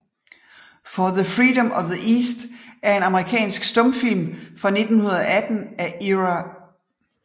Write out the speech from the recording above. For the Freedom of the East er en amerikansk stumfilm fra 1918 af Ira M